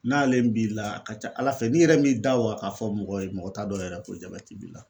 N'ale b'i la a ka ca ala fɛ n'i yɛrɛ m'i da wa k'a fɔ mɔgɔ ye mɔgɔ t'a dɔn yɛrɛ ko jabɛti b'i la